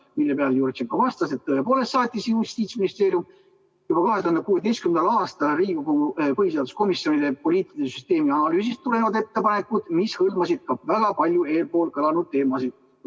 Selle peale Jurtšenko vastas, et tõepoolest saatis Justiitsministeerium juba 2016. aastal Riigikogu põhiseaduskomisjonile poliitilise süsteemi analüüsist tulenevad ettepanekud, mis hõlmasid ka väga paljusid eespool kõlanud teemasid.